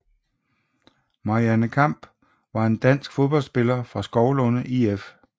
Marianne Kamph var en dansk fodboldspiller fra Skovlunde IF